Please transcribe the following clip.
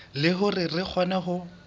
le hore re kgone ho